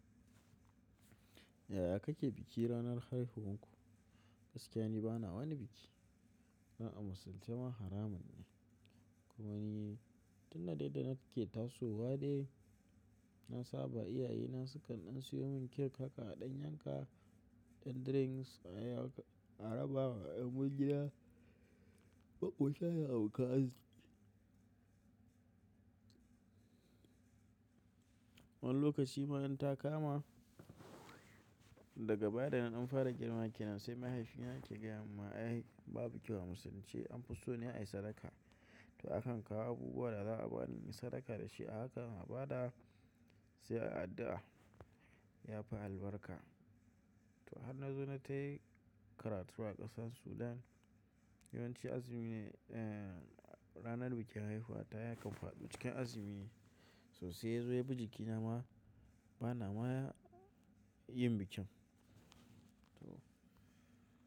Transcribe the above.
Yaya kake biki ranar haihuwan ku? Gaskiya ni bana wani biki. Ai a Musululce ma haramun ne. Kuma ni tun da dai da nake ke tasowa dai, na saba iyayena sukan ɗan siyo mun cake haka a ɗan yanka, ɗan drinks ai arabawa yan gida, makota da abokan arziki. Wani lokaci ma in ta kama daga baya da naɗan fara girma ke nan sai mahaifina ya ce ga yamin ma ai babu kyau a musulunci an fi so ne ayi sadaka. To akan kawo abubuwa da za a bani in sadaka da shi a haka na ba da sai ai addu'a ya fi albarka. To har na zo na tafi karatu a ƙasar Sudan, yawanci azumi ne ranar bikin haihuwa ta yakan faɗo cikin azumi, so sai yazo ya bi jiki na ma bana ma yin bikin. To.